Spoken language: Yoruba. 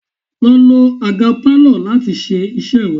Lọ lo àga Pálọ̀ láti ṣe iṣẹ́ rẹ!